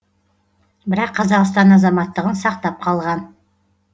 бірақ қазақстан азаматтығын сақтап қалған